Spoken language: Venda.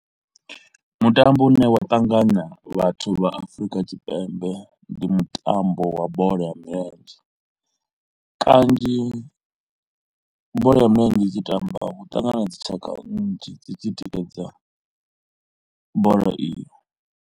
Mutambo u ne wa ṱanganya vhathu vha Afrika Tshipembe ndi mutambo wa bola ya milenzhe, kanzhi bola ya milenzhe i tshi tamba hu ṱangana dzi tshaka nnzhi dzi tshi tikedza bola iyo.